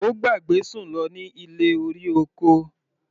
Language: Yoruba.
Ó gbàgbé Sùn lọ ní ilé-orí-oko.